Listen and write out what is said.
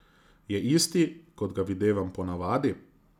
Je isti, kot ga videvam po navadi?